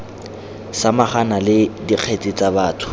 samagana le dikgetse tsa batho